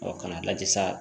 k'a lajɛ sa